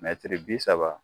bi saba